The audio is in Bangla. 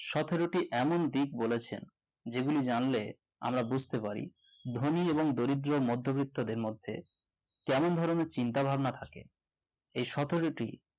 সোথোরিটী এমন দিক বলেছে যেগুলি জানলে আমরা বুঝতে পারি ধনী এবং গরিব এবং মধ্যবিত্তদের মধ্যে কেমন ধরনের চিন্তাভাবনা থাকে এই সোথোরিটী